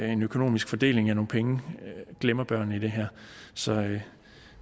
en økonomisk fordeling af nogle penge glemmer børnene i det her så